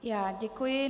Já děkuji.